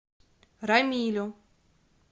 рамилю